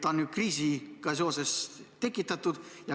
Ta on ju kriisiga seoses tekitatud.